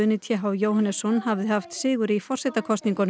hafði haft sigur í forsetakosningunum um leið og